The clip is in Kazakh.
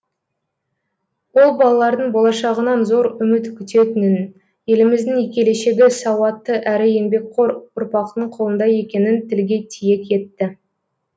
ол балалардың болашағынан зор үміт күтетінін еліміздің келешегі сауатты әрі еңбекқор ұрпақтың қолында екенін тілге тиек етті